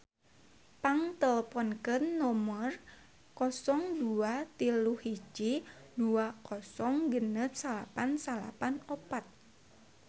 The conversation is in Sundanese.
Pang teleponkeun nomer 0231 206994